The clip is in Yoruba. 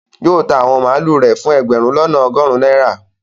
Yóò ta àwọn màlúù rẹ̀ fún ẹgbẹ̀rún lọ́nà ọgọrun náírà